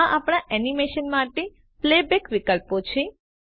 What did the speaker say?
આ આપણા એનિમેશન માટે પ્લેબૅક વિકલ્પો છે